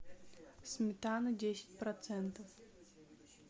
сметана десять процентов